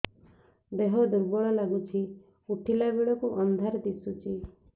ଦେହ ଦୁର୍ବଳ ଲାଗୁଛି ଉଠିଲା ବେଳକୁ ଅନ୍ଧାର ଦିଶୁଚି